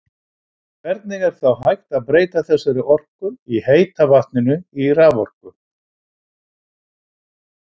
En hvernig er þá hægt að breyta þessari orku í heita vatninu í raforku?